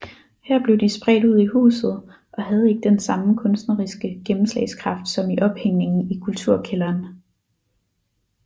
Her blev de spredt ud i huset og havde ikke den samme kunstneriske gennemslagskraft som i ophængningen i Kulturkælderen